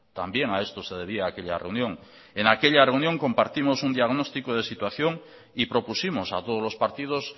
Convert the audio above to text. también a esto se debía aquella reunión en aquella reunión compartimos un diagnóstico de situación y propusimos a todos los partidos